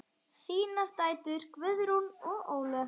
Þínar dætur, Guðrún og Ólöf.